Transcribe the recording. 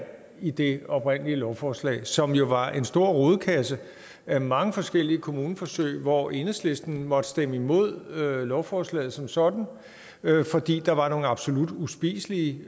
i det oprindelige lovforslag som jo var en stor rodekasse af mange forskellige kommuneforsøg hvor enhedslisten måtte stemme imod lovforslaget som sådan fordi der var nogle absolut uspiselige